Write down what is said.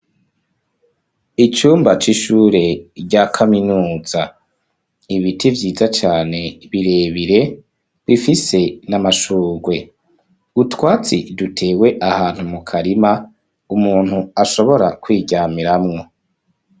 Icumba c'ishure rya kaminuza. Ibiti vyiza cane birebire, bifise n'amashugwe. Utwatsi dutewe ahantu mu karima, umuntu ashobora kwiryamiramwo.